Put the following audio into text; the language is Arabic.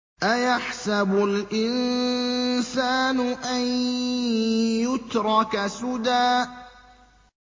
أَيَحْسَبُ الْإِنسَانُ أَن يُتْرَكَ سُدًى